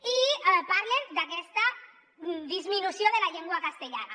i parlen d’aquesta disminució de la llengua castellana